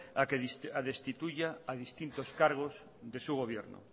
a que destituya a distintos cargos de su gobierno